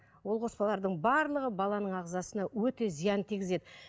ол қоспалардың барлығы баланың ағзасына өте зиянын тигізеді